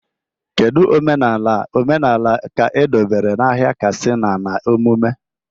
Kedu omenala omenala ka edobere n'ahịa Katsina na emume?